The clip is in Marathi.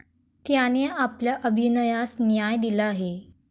त्याने आपल्या अभिनयास न्याय दिला आहे.